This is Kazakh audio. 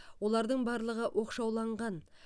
олардың барлығы оқшауланған